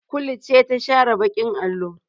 Kulu ce ta share baƙin allo.